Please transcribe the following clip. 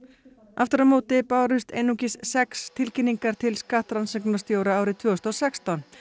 aftur á móti bárust einungis sex tilkynningar til skattrannsóknarstjóra árið tvö þúsund og sextán